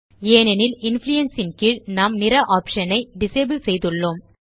ஏனெனில் இன்ஃப்ளூயன்ஸ் ன் கீழ் நாம் நிற ஆப்ஷன் ஐ நாம் டிசபிள் செய்துள்ளோம்